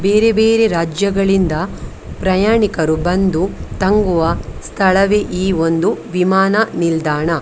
ಬೇರೆ ಬೇರೆ ರಾಜ್ಯಗಳಿಂದ ಪ್ರಯಾಣಿಕರು ಬಂದು ತಂಗುವ ಸ್ಥಳವೇ ಈ ಒಂದು ವಿಮಾನ ನಿಲ್ದಾಣ .